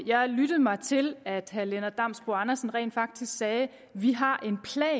jeg lyttede mig til at herre lennart damsbo andersen rent faktisk sagde vi har